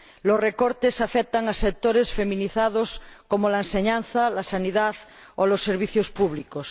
Los recortes afectan a sectores feminizados, como la enseñanza, la sanidad o los servicios públicos.